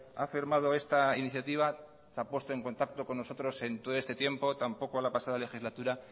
ha firmado esta iniciativa se ha puesto en contacto con nosotros en todo este tiempo tampoco en la pasada legislatura